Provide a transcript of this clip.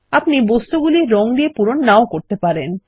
আপনি বস্তুগুলি রঙ দিয়ে পূরণ নাও করতে পারেন